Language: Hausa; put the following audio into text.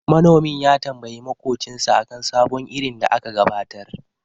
Manomin ya tambayi maƙocinsa akan sabon irin da aka gabatar.